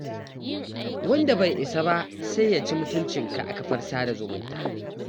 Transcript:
Wanda bai isa ba sai ya ci mutuncika a kafar sada zumunta.